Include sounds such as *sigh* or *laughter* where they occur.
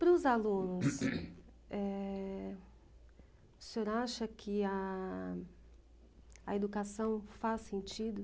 Para os alunos, *coughs* eh, o senhor acha que a a educação faz sentido?